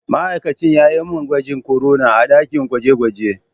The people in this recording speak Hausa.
Ma'aikacin ya yi mani gwajin korona a dakin gwaje-gwaje.